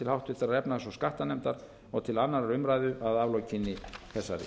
háttvirtrar efnahags og skattanefndar og til annarrar umræðu að aflokinni þessari